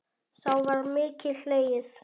Þá var mikið hlegið.